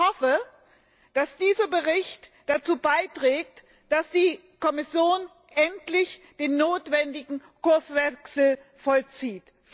Ich hoffe, dass dieser Bericht dazu beiträgt, dass die Kommission endlich den notwendigen Kurswechsel vollzieht!